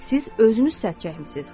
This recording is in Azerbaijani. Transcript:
Siz özünüz səs çəkmisiz.